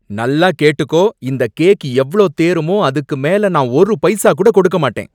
நல்லா கேட்டுக்கோ! இந்த கேக் எவ்ளோ தேறுமோ அதுக்கு மேல நான் ஒரு பைசா கூட கொடுக்க மாட்டேன்.